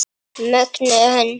Mögnuð hönd.